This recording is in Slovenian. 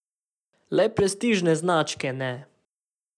Le prestižne značke ne.